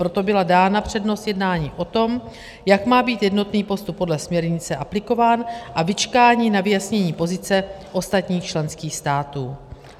Proto byla dána přednost jednání o tom, jak má být jednotný postup podle směrnice aplikován, a vyčkání na vyjasnění pozice ostatních členských států.